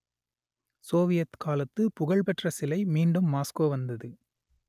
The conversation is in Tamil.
சோவியத் காலத்து புகழ் பெற்ற சிலை மீண்டும் மாஸ்கோ வந்தது